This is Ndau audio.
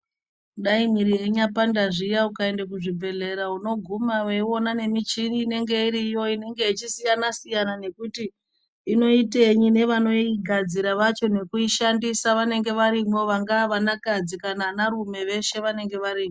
Dai mwiri yeinyapanda zviya , ukaenda kuzvi bhehlera unoguma weiona nemichini inenge iriyo inenge ichisiyana-siyana nekuti inoitenyi nevanoigadzira vacho nekuishandisa vanenge varimo vangava vanakadzi kana vanarume veshe vanenge varimo.